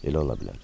Elə ola bilər.